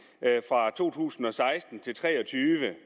fra to tusind og seksten til tre og tyve